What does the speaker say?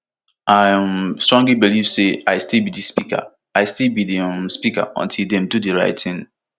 i um believe strongly say i still be di speaker i still be di um speaker until dem do di right tin